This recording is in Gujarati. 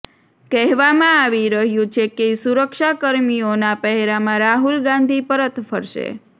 કહેવામાં આવી રહ્યું છે કે સુરક્ષાકર્મીઓના પહેરામાં રાહુલ ગાંધી પરત ફરશે